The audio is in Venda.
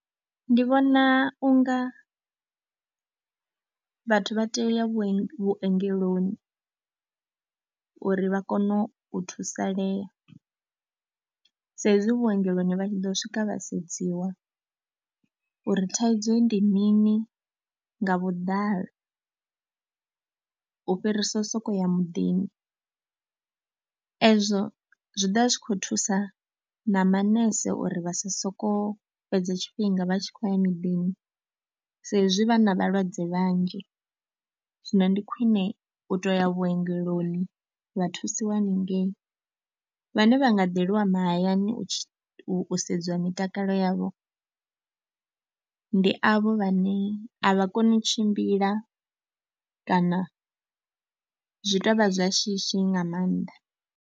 Ndi vhona u nga vhathu vha tea u ya vhuenge, vhuongeloni uri vha kone u thusalea saizwi vhuongeloni vha tshi ḓo swika vha sedziwa uri thaidzo ndi mini nga vhuḓalo, u fhirisa u sokou ya muḓini. Ezwo zwi ḓo vha zwi khou thusa na manese uri vha si sokou fhedza tshifhinga vha tshi khou ya miḓini saizwi vha na vhalwadze vhanzhi. Zwino ndi khwine u tou ya vhuongeloni vha thusiwa haningei, vhane vha nga ḓeliwa mahayani u u sedziwa mitakalo yavho, ndi avho vhane a vha koni u tshimbila kana zwi tou vha zwa shishi nga maanḓa.